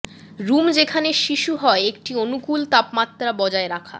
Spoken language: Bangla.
রুম যেখানে শিশু হয় একটি অনুকূল তাপমাত্রা বজায় রাখা